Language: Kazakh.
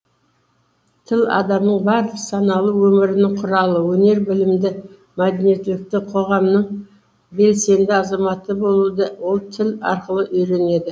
тіл адамның барлық саналы өмірінің құралы өнер білімді мәдениеттілікті қоғамның белсенді азаматы болуды ол тіл арқылы үйренеді